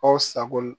Aw sago